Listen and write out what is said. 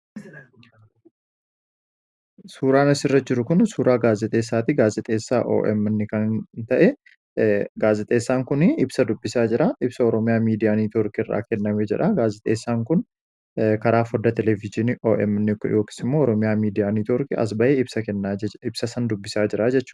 suuraanisirra jiru kun suuraa gaazixeessaatti gaazixeessaa omn kan ta'e gaazixeessaan kun ibsa dubbisaa jiraa ibsa oroomiyaa miidiyaanii neetwoorkii irraa kennamee jedha gaazixeessaan kun karaa foda televiziini omnooks immoo oroomiyaa miidiyaanii toorkii asba'ee ibsa san dubbisaa jira jehu